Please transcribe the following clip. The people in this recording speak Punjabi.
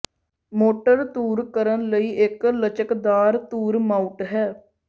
ਮੋਟਰ ਧੁਰ ਕਰਨ ਲਈ ਇੱਕ ਲਚਕਦਾਰ ਧੁਰ ਮਾਊਟ ਹੈ